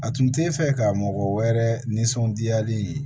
A tun t'e fɛ ka mɔgɔ wɛrɛ nisɔndiyalen